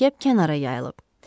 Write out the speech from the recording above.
Mürəkkəb kənara yayılıb.